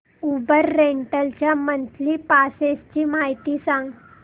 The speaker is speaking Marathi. उबर रेंटल च्या मंथली पासेस ची माहिती सांग